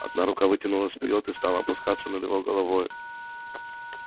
одна рука вытянулась вперёд и стала опускаться над его головой